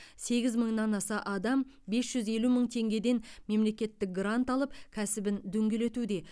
сегіз мыңнан аса адам бес жүз елу мың теңгеден мемлекеттік грант алып кәсібін дөңгелетуде